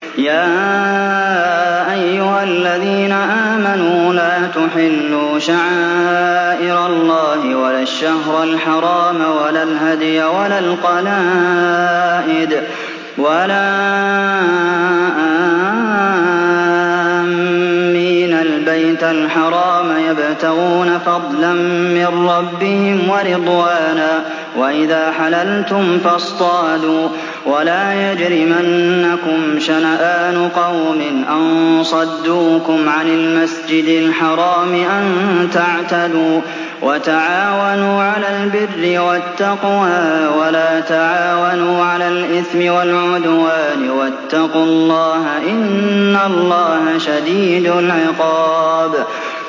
يَا أَيُّهَا الَّذِينَ آمَنُوا لَا تُحِلُّوا شَعَائِرَ اللَّهِ وَلَا الشَّهْرَ الْحَرَامَ وَلَا الْهَدْيَ وَلَا الْقَلَائِدَ وَلَا آمِّينَ الْبَيْتَ الْحَرَامَ يَبْتَغُونَ فَضْلًا مِّن رَّبِّهِمْ وَرِضْوَانًا ۚ وَإِذَا حَلَلْتُمْ فَاصْطَادُوا ۚ وَلَا يَجْرِمَنَّكُمْ شَنَآنُ قَوْمٍ أَن صَدُّوكُمْ عَنِ الْمَسْجِدِ الْحَرَامِ أَن تَعْتَدُوا ۘ وَتَعَاوَنُوا عَلَى الْبِرِّ وَالتَّقْوَىٰ ۖ وَلَا تَعَاوَنُوا عَلَى الْإِثْمِ وَالْعُدْوَانِ ۚ وَاتَّقُوا اللَّهَ ۖ إِنَّ اللَّهَ شَدِيدُ الْعِقَابِ